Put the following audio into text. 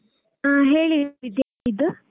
ಹಾ ಹೇಳಿ ವಿದ್ಯಾ .